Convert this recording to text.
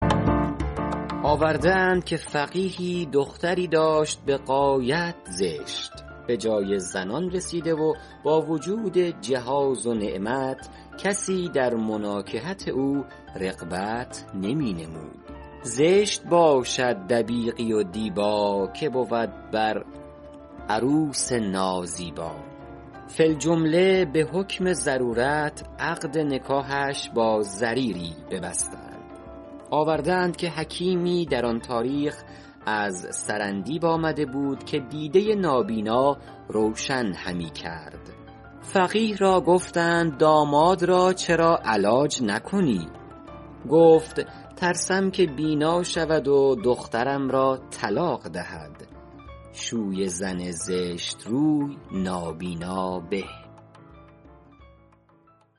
آورده اند که فقیهی دختری داشت به غایت زشت به جای زنان رسیده و با وجود جهاز و نعمت کسی در مناکحت او رغبت نمی نمود زشت باشد دبیقی و دیبا که بود بر عروس نازیبا فی الجمله به حکم ضرورت عقد نکاحش با ضریری ببستند آورده اند که حکیمی در آن تاریخ از سرندیب آمده بود که دیده نابینا روشن همی کرد فقیه را گفتند داماد را چرا علاج نکنی گفت ترسم که بینا شود و دخترم را طلاق دهد شوی زن زشت روی نابینا به